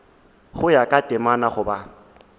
go ya ka temana goba